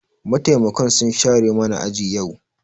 Mataimakan sun share mana aji yau.